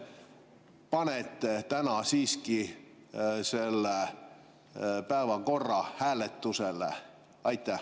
Kas te panete täna siiski päevakorra hääletusele?